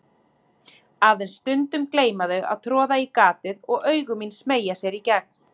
Aðeins stundum gleyma þau að troða í gatið og augu mín smeygja sér í gegn.